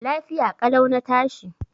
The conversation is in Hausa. Lafiya ƙalau na tashi.